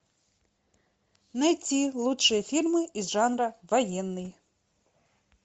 найти лучшие фильмы из жанра военный